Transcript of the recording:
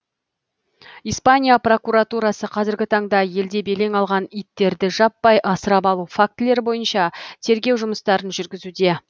испания прокуратурасы қазіргі таңда елде белең алған иттерді жаппай асырап алу фактілері бойынша тергеу жұмыстарын жүргізуде